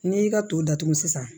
N'i y'i ka to datugu sisan